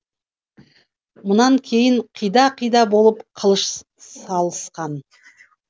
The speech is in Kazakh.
мұнан кейін қида қида болып қылыш салысқан